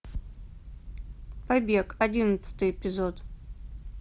побег одиннадцатый эпизод